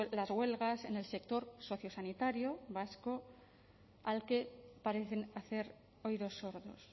las huelgas en el sector sociosanitario vasco al que parecen hacer oídos sordos